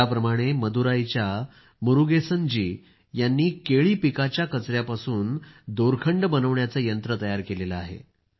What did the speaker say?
ज्याप्रमाणे मदुराईच्या मुरूगेसन जी यांनी केळाच्या कचयापासून दोरखंड बनविण्याचे यंत्र तयार केलं आहे